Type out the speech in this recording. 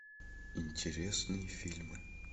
интересные фильмы